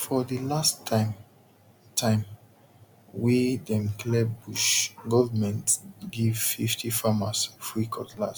for the last time time wey dem clear bush government give fifty farmers free cutlass